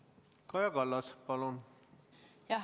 Kaja Kallas, palun!